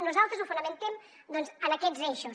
nosaltres ho fonamentem doncs en aquests eixos